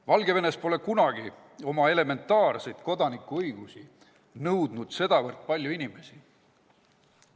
Valgevenes pole elementaarseid kodanikuõigusi kunagi nõudnud sedavõrd palju inimesi.